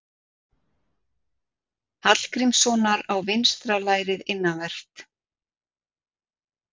Hallgrímssonar á vinstra lærið innanvert.